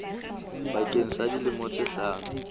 bakeng sa dilemo tse hlano